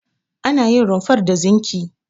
Ana yin rumfar da zinki.